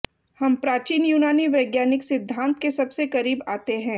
हम प्राचीन यूनानी वैज्ञानिक सिद्धांत के सबसे करीब आते हैं